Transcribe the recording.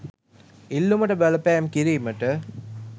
ඉල්ලුමට බලපෑම් කිරීමට